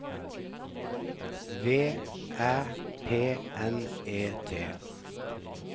V Æ P N E T